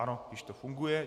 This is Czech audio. Ano, již to funguje.